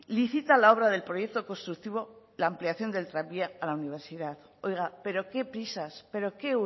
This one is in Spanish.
licita la obra del proyecto constructivo la ampliación del tranvía a la universidad oiga pero qué prisas pero qué